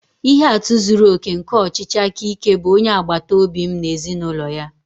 Ihe atụ zuru oke nke ọchịchị aka ike bụ onye agbata obi m na ezinụlọ ya